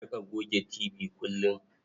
A riƙa goge tibi kullum.